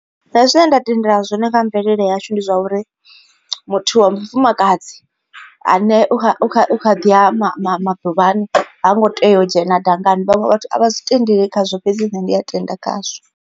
Nṋe zwine nda tendela zwone nga mvelele yashu ndi zwa uri muthu wa mufumakadzi ane a kha u kha u kha ḓi a maḓuvhani ha ngo tea u dzhena dangani. Vhaṅwe vhathu a vha zwi tendeli khazwo fhedzi nṋe ndi a tenda khazwo.